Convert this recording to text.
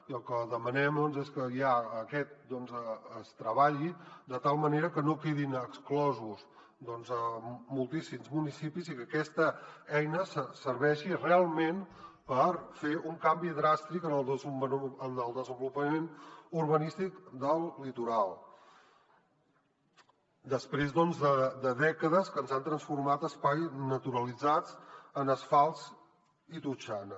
i el que demanem és que aquest es treballi de tal manera que no en quedin exclosos moltíssims municipis i que aquesta eina serveixi realment per fer un canvi dràstic en el desenvolupament urbanístic del litoral després de dècades que ens han transformat espais naturalitzats en asfalt i totxana